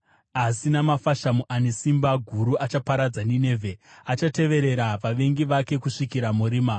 asi namafashamu ane simba guru, achaparadza Ninevhe; achateverera vavengi vake kusvikira murima.